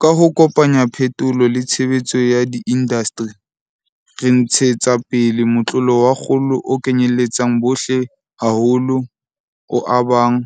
Ka ho kopanya phetolo le tshebetso ya diindasteri, re ntshetsa pele motlolo wa kgolo o kenyeletsang bohle haholo, o abang,